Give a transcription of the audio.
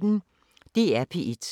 DR P1